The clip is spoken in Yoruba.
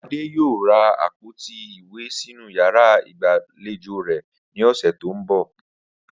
Adé yóò ra àpòtí ìwé sínú yàrá ìgbàlejò rè̩ ní ò̩sè̩ tó ń bò̩